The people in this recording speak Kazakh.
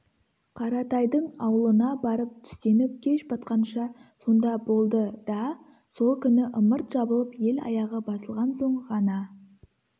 қаратайдың аулына барып түстеніп кеш батқанша сонда болды да сол күні ымырт жабылып ел аяғы басылған соң ғана